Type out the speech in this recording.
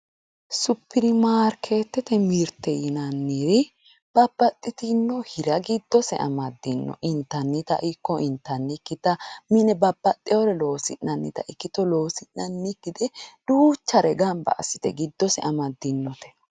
Superimaarketete mirte yinnanniri babbaxinore intannire giddose amadinotta ikko intannikkitta mine babbaxeyewore loosi'nannitta loosi'nannikkitta ikkitto ikkite duuchare gamba assite giddose amadinote.